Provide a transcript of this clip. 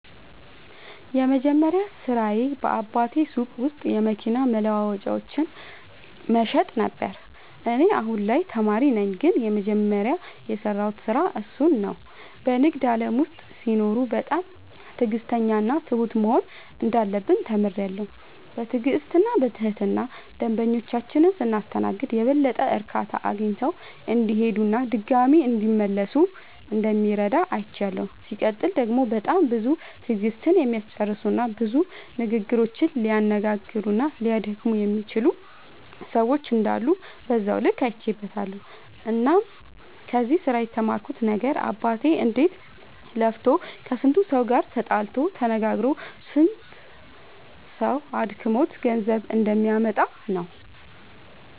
የመጀመሪያ ስራዬ በአባቴ ሱቅ ውስጥ የመኪና መለዋወጫዎችን መሸጥ ነበረ። እኔ አሁን ላይ ተማሪ ነኝ ግን የመጀመሪያ የሰራሁት ስራ እሱን ነው። በንግድ ዓለም ውስጥ ሲኖሩ በጣም ትዕግሥተኛና ትሁት መሆን እንዳለብን ተምሬያለሁ። በትዕግሥትና በትህትና ደንበኞቻችንን ስናስተናግድ የበለጠ እርካታ አግኝተው እንዲሄዱና ድጋሚም እንዲመለሱ እንደሚረዳ አይቻለሁ። ሲቀጥል ደግሞ በጣም ብዙ ትዕግሥትን የሚያስጨርሱና ብዙ ንግግሮችን ሊያነጋግሩና ሊያደክሙ የሚችሉ ሰዎች እንዳሉ በዛው ልክ አይቼበትበታለሁ። እናም ከዚህ ስራ የተማርኩት ነገር አባቴ እንዴት ለፍቶ ከስንቱ ሰው ጋር ተጣልቶ ተነጋግሮ ስንቱ ሰው አድክሞት ገንዘብ እንደሚያመጣ ነው።